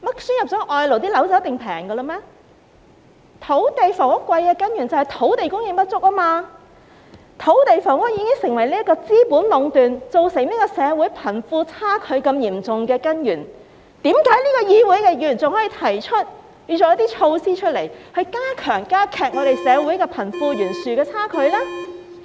土地及房屋昂貴的根源是土地供應不足，土地房屋已成為資本壟斷，也是造成社會貧富差距嚴重的根源，為何這個議會的議員仍建議推出一些措施來加劇社會貧富懸殊的情況呢？